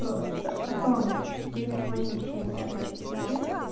просто потом девять восемь семь это четыре